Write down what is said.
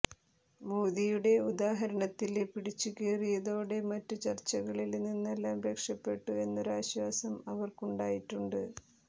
മോദിയുടെ ഉദാഹരണത്തില് പിടിച്ചുകേറിയതോടെ മറ്റു ചര്ച്ചകളില് നിന്നെല്ലാം രക്ഷപ്പെട്ടു എന്നൊരാശ്വാസം അവര്ക്കുണ്ടായിട്ടുണ്ട്